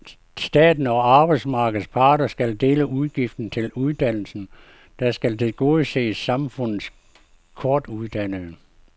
Staten og arbejdsmarkedets parter skal dele udgiften til uddannelsen, der skal tilgodese samfundets kortuddannede.